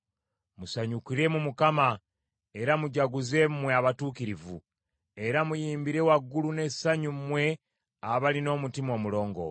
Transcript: Musanyukire mu Mukama era mujaguze mmwe abatuukirivu, era muyimbire waggulu n’essanyu mmwe abalina omutima omulongoofu.